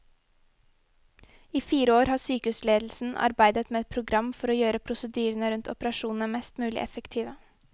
I fire år har sykehusledelsen arbeidet med et program for å gjøre prosedyrene rundt operasjonene mest mulig effektive.